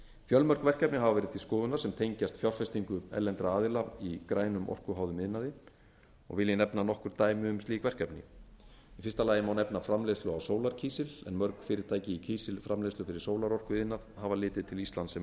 fjölmörg verkefni hafa verið til skoðunar sem tengjast fjárfestingu erlendra aðila í grænum orkuháðum iðnaði og vil ég nefna nokkur dæmi um slík verkefni í fyrsta lagi má nefna framleiðslu á sólarkísil en mörg fyrirtæki í kísilframleiðslu fyrir sólarorkuiðnað hafa litið til íslands sem